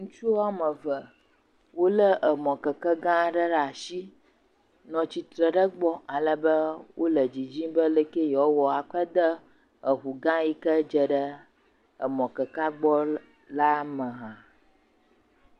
Ŋutsu woame eve wolé emɔ keke gã aɖe ɖe asi nɔ tsitre ɖe egbɔ alebe wole didim be aleke yewoawɔ akɔe aɖe eŋu gã ydze ɖe emɔ kekea gbɔ la me hã.